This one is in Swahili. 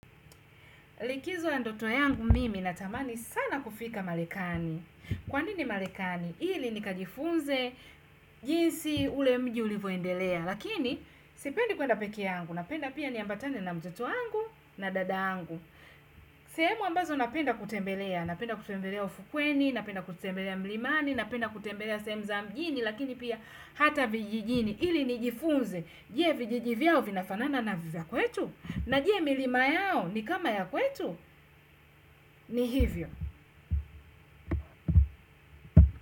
Likizo ya ndoto yangu mimi natamani sana kufika Marekani. Kwa nini Marekani? Ili nikajifunze jinsi ule mji ulivyoendelea. Lakini sipendi kwenda peke yangu. Napenda pia niambatane na mtoto yangu na dada yangu. Sehemu ambazo napenda kutembelea. Napenda kutembelea ufukweni, napenda kutembelea mlimani, napenda kutembelea sehemu za mjini. Lakini pia hata vijijini. Ili nijifunze. Je vijiji vyao vinafanana na vya kwetu. Na je milima yao ni kama ya kwetu ni hivyo.